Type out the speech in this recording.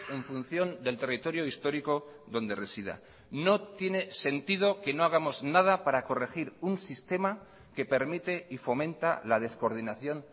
en función del territorio histórico donde resida no tiene sentido que no hagamos nada para corregir un sistema que permite y fomenta la descoordinación